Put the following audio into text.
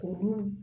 K'olu